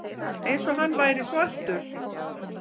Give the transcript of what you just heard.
Eins og hann væri svartur.